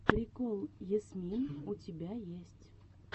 прикол ясмин у тебя есть